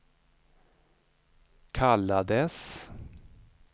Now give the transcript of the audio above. kallades